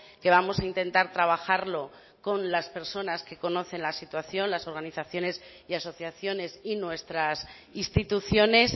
que vamos a intentar trabajarlo con las personas que conocen la situación las organizaciones y asociaciones y nuestras instituciones